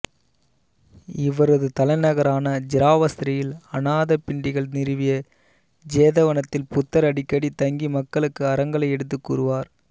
இவரது தலைநகரான சிராவஸ்தியில் அனாதபிண்டிகன் நிறுவிய ஜேதவனத்தில் புத்தர் அடிக்கடி தங்கி மக்களுக்கு அறங்களை எடுத்துக் கூறுவார்